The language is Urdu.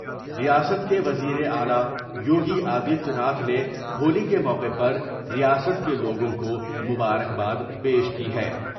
ریاست کے وزیراعلی یوگی آدتیہ ناتھ نے ہولی کے موقع پر ریاست کے لوگوں کو مبارکباد پیش کی ہے ۔